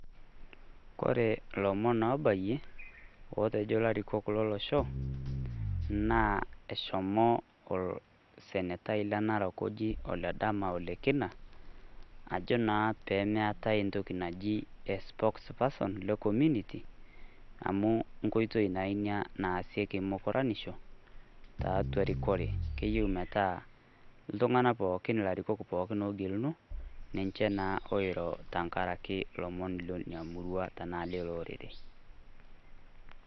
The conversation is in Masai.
Kore ilomon obayie, otejo ilarikok lo losho naa eshomo olsenetai le Narok oji Ledama Ole Kina, ajo naa pemeetai e spokes person le community amu nkoitoi naa ina naasieki mukoranisho tiatua erikore keyeu metaa iltung'ana pooki, ilarikok ogeluno ninche naa oiro tenkaraki ilomon lina murua tenaa lilo orere.